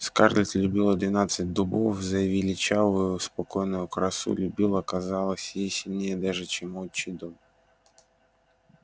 скарлетт любила двенадцать дубов за величавую спокойную красу любила казалось ей сильнее даже чем отчий дом